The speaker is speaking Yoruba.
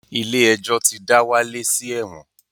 Ilé-ẹjọ̀ ti dá Wálé sí ẹ̀wọ̀n